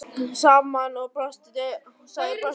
Dóri féll saman og sagði brostinni röddu: